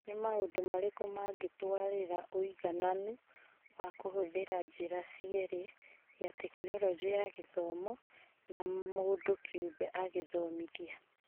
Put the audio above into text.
Nĩ maũndũ marĩkũ mangĩtũarĩrĩra ũigananu wa kũhũthĩra njĩra cierĩ, ya Tekinoronjĩ ya Githomo na mũndũ kĩũmbe agĩthomithia ?